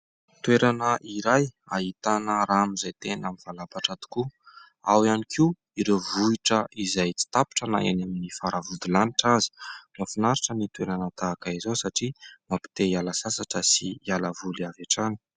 Toerana iray ahitana rano izay tena mivalapatra tokoa ; ao ihany koa ireo vohitra izay tsy tapitra na eny amin'ny fara-vodilanitra aza. Mahafinaritra ny toerana tahaka izao satria mampite hiala sasatra sy hiala voly avy hatrany